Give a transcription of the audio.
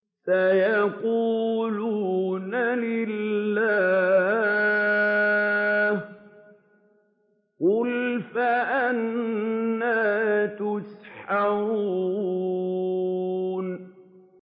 سَيَقُولُونَ لِلَّهِ ۚ قُلْ فَأَنَّىٰ تُسْحَرُونَ